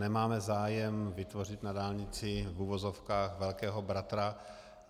Nemáme zájem vytvořit na dálnici v uvozovkách velkého bratra.